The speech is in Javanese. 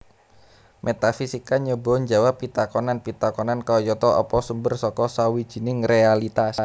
Métafisika nyoba njawab pitakonan pitakonan kayata Apa sumber saka sawijining réalitas